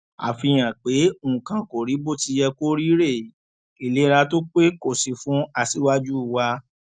àfihàn pé nǹkan kò rí bó ti yẹ kó rí rèé ìlera tó pé kò sí fún aṣíwájú wa